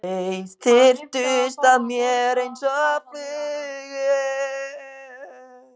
Þeir þyrptust að mér einsog flugur.